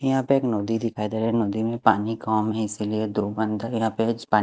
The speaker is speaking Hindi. यहाँ पे एक नदी दिख रहा है नदी में पानी कम है इसीलिए --